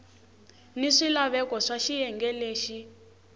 ni swilaveko swa xiyenge lexi